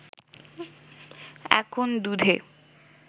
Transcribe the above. এখন দুধে